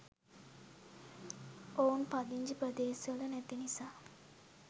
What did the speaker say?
ඔවුන් පදිංචි ප්‍රදේශවල නැති නිසා